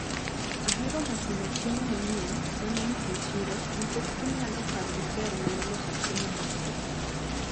Aheroga temo chiemo manyien maneno e chiro nikech gimiyaga paro maber mar loso chiemo maopogre.